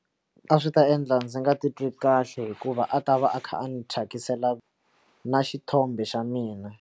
A swi ta endla ndzi nga titwi kahle hikuva a ta va a kha a ni thyakisa tlhela na xithombe xa mina.